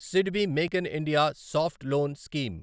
SIDBI make in India soft loan scheme